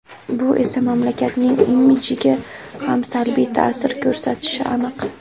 Bu esa mamlakatning imidjiga ham salbiy ta’sir ko‘rsatishi aniq.